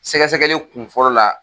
Sɛgɛ sɛgɛli kun fɔlɔ la